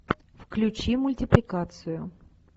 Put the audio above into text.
включи мультипликацию